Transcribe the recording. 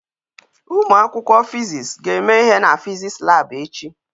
Umu akwukwo fiziks ga eme ihe na fiziks lab echi